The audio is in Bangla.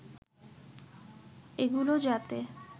এগুলো যাতে